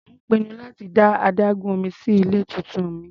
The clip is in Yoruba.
Mò ń pinnu láti dá adágún omí sí ilé tuntun mi.